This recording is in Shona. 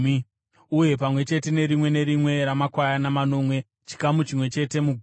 uye pamwe chete nerimwe nerimwe ramakwayana manomwe, chikamu chimwe chete mugumi;